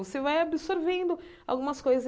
Você vai absorvendo algumas coisas.